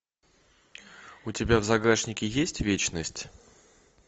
у тебя в загашнике есть вечность